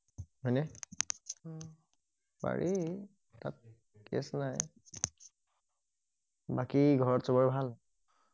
পাৰি তাত কেছ নাই বাকি ঘৰত চবৰে ভাল